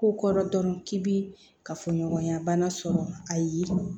Ko kɔrɔ dɔrɔn k'i bi kafoɲɔgɔnya bana sɔrɔ ayi